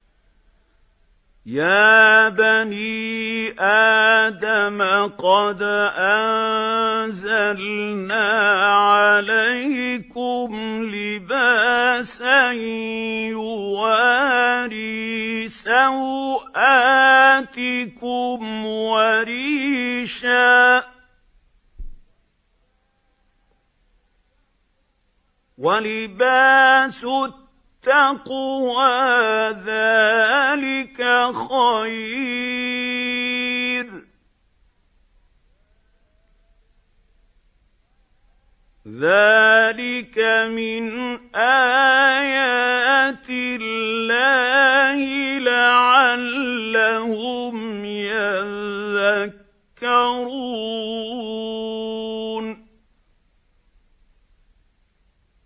يَا بَنِي آدَمَ قَدْ أَنزَلْنَا عَلَيْكُمْ لِبَاسًا يُوَارِي سَوْآتِكُمْ وَرِيشًا ۖ وَلِبَاسُ التَّقْوَىٰ ذَٰلِكَ خَيْرٌ ۚ ذَٰلِكَ مِنْ آيَاتِ اللَّهِ لَعَلَّهُمْ يَذَّكَّرُونَ